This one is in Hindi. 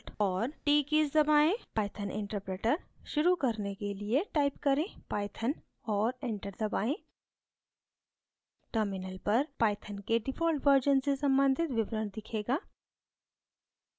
python interpreter शुरू करने के लिए type करें python और enter दबाएँ terminal पर python के default version से सम्बन्धित विवरण दिखेगा